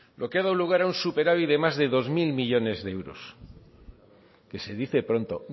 lo que ha dado lugar a un superávit de más de dos mil millónes de euros que se dice pronto